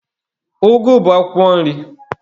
Ụgụ bụ akwụkwọ nri.